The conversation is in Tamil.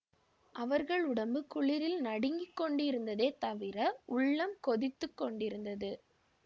அவர்கள் உடம்பு குளிரில் நடுங்கிக் கொண்டிருந்ததே தவிர உள்ளம் கொதித்து கொண்டிருந்தது